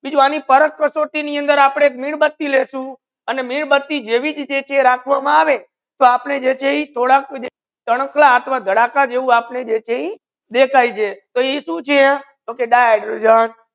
ત્રીજું આનુ પાર્ક કસોટી ની અંદર આપડે મીણબત્તી લેસુ અને મીણબત્તી જેવી રીત રાખવા મા આવે તો આપને જે છે ઇ થોડક ચાનકલા આત્મ ધડાકા જેવુ આપને જે છે ઇ દેખાઈજે તો ઇ શુ છે તો કહે કી di hydrogen